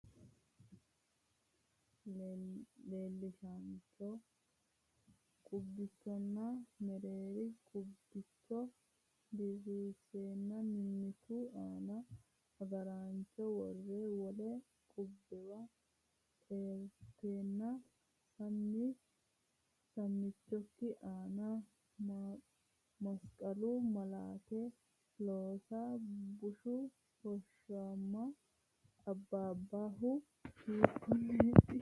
Leellishaancho qubbichonna mereeri qub bicho diriirsine mimmitu aana agaraancho worre wole qubbuwa eranteenna sam michinke aana masqalu malaate loosa, bushshu hoshooshama abbabbohu hiikkonneeti?